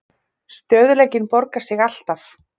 Stöðugleikinn borgar sig alltaf